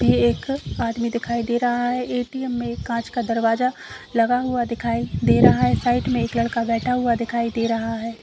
ये एक आदमी दिखाई दे रहा है। ए.टी.एम में एक काँच का दरवाजा लगा हुआ दिखाई दे रहा है। साइड में एक लड़का बैठा हुआ दिखाई दे रहा है।